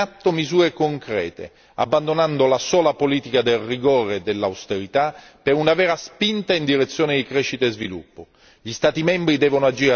Dobbiamo mettere in atto misure concrete abbandonando la sola politica del rigore e dell'austerità per una vera spinta in direzione di crescita e sviluppo.